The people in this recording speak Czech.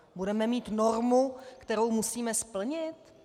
Budeme mít normu, kterou musíme splnit?